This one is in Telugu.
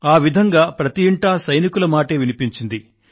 ఆ విధంగా ప్రతి ఇంటా సైనికుల మాటే వినిపించింది